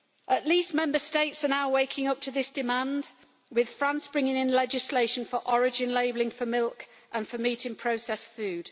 At least Member States are now waking up to this demand, with France bringing in legislation for origin labelling for milk and for meat in processed food.